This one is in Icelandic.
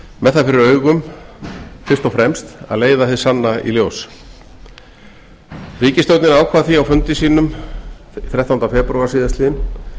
með það fyrir augum fyrst og fremst að leiða hið sanna í ljós ríkisstjórnin ákvað því á fundi sínum þrettánda febrúar síðastliðinn